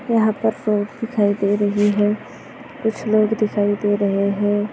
यहाँ पर दिखाई दे रही है कुछ लोग दिखाई दे रहे है।